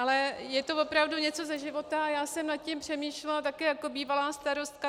Ale je to opravdu něco ze života a já jsem nad tím přemýšlela také jako bývalá starostka.